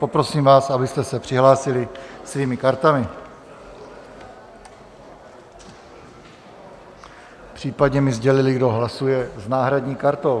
Poprosím vás, abyste se přihlásili svými kartami, případně mi sdělili, kdo hlasuje s náhradní kartou.